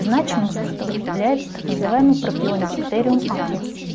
значимость которых является так называемый ппропионибактериум акнес